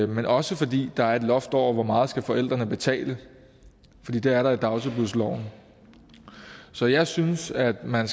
men også fordi der er et loft over hvor meget forældrene skal betale fordi det er der i dagtilbudsloven så jeg synes at man